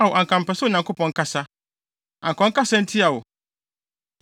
Ao, anka mepɛ sɛ Onyankopɔn kasa, anka ɔnkasa ntia wo